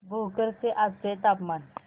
भोकर चे आजचे तापमान